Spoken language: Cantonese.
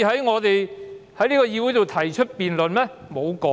我們不可以在議會裏提出辯論嗎？